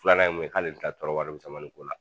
Filanan ye min ye k'ale tɛn tɔɔrɔ warimisɛn ko la.